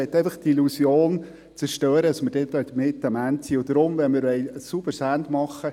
Ich möchte lediglich die Illusion zerstören, wir seien damit am Ende.